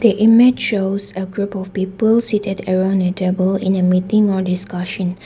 image shows a group of people seated around a table in a meeting or discussion.